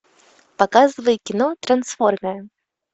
показывай кино трансформеры